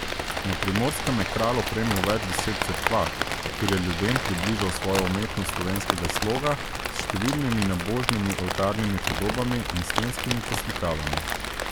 Na Primorskem je Kralj opremil več deset cerkva, kjer je ljudem približal svojo umetnost slovenskega sloga s številnimi nabožnimi oltarnimi podobami in stenskimi poslikavami.